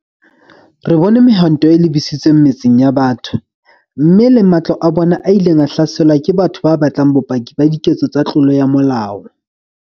Re bone mehwanto e lebisitsweng metseng ya batho, mme le matlo a bona a ileng a hlaselwa ke batho ba batlang bopaki ba diketso tsa tlolo ya molao.